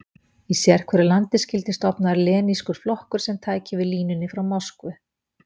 Í sérhverju landi skyldi stofnaður lenínískur flokkur sem tæki við línunni frá Moskvu.